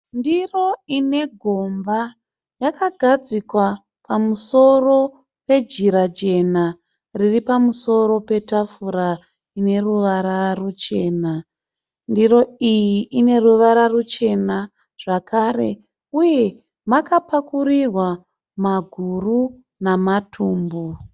Ndiro ine gomba yakagadzikwa pamusoro pejira jena riri pamusoro petafura ine ruvara ruchena. Ndiro iyi ine ruvara ruchena zvakare uye makapakurirwa maguru namatumbu.